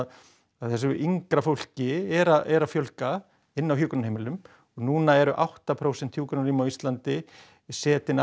að þessu yngra fólki er er að fjölga inni á hjúkrunarheimilum og núna eru átta prósent hjúkrunarrýma á Íslandi setin af